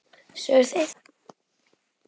Sögðu þeir það?